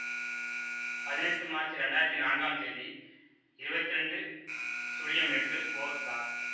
பதினெட்டு மார்ச் இரண்டாயிரத்தி நான்காம் தேதி இருவத்தி இரண்டு சுழியம் எட்டு ஒ ச